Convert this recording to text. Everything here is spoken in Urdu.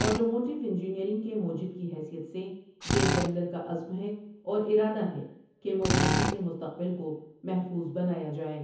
آٹوموٹِو انجینیئرنگ کے موجد کی حیثیت سے، یہ ڈیملر کا عزم ہے اور ارادہ ہے کہ موبلٹی کے مستقبل کو محفوظ بنایا جائے ۔